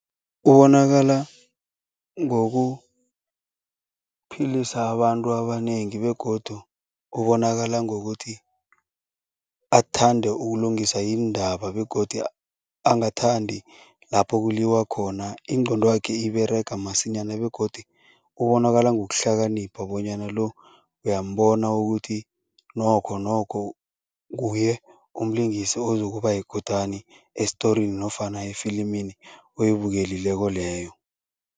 Kubonakala ngokuphilisa abantu abanengi begodu ubonakala ngokuthi athande ukulungisa iindaba begodu angathandi lapho kuliwa khona. Ingqondo yakhe iberega masinyana begodu ubonakala ngokuhlakanipha bonyana lo, uyambona ukuthi nokhonokho nguye umlingisi ozokuba yikutani esitorini nofana efilimini oyibukelileko leyo.